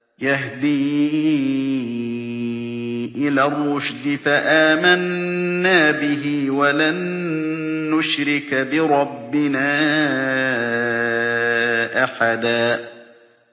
يَهْدِي إِلَى الرُّشْدِ فَآمَنَّا بِهِ ۖ وَلَن نُّشْرِكَ بِرَبِّنَا أَحَدًا